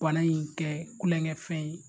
Bana in kɛ kulɔŋɛ fɛn ye